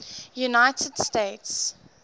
united states